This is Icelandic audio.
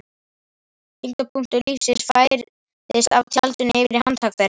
Þyngdarpunktur lífsins færðist af tjaldinu yfir í handtak þeirra.